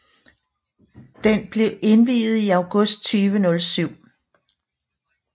Den blev indviet i august 2007